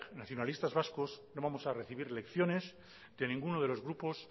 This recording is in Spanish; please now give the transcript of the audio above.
nacionalistas vascos no vamos a recibir lecciones de ninguno de los grupos